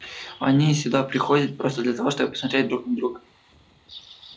они сюда приходят просто для того чтобы посмотреть друг на друга